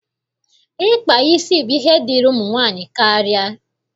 Ịkpa isi bụ ihe dịịrị ụmụ nwaanyị karịa.